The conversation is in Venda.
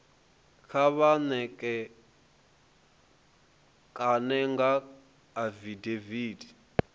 kha vha ṋekane nga afidaviti